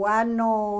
O ano